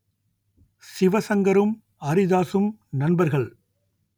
சிவசங்கரும் அரிதாசும் நண்பர்கள்